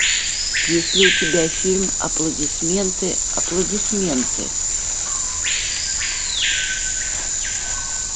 есть ли у тебя фильм аплодисменты аплодисменты